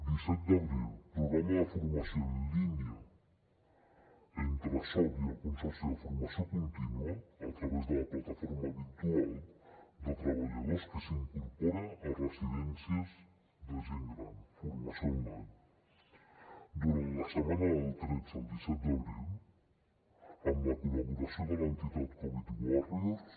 disset d’abril programa de formació en línia entre soc i el consorci de formació contínua a través de la plataforma virtual de treballadors que s’incorporen a residències de gent gran formació online durant la setmana del tretze al disset d’abril amb la col·laboració de l’entitat covid dinou warriors